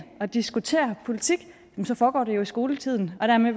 og diskutere politik foregår det i skoletiden